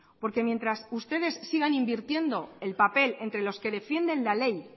porque mientras ustedes sigan invirtiendo el papel entre los que defienden la ley